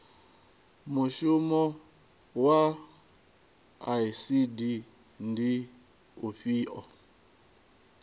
mushumo wa icd ndi ufhio